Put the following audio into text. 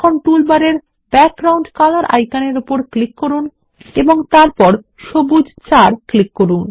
এখন টুলবারের background colour আইকনের উপর ক্লিক করুন এবং তারপর সবুজ 4 ক্লিক করুন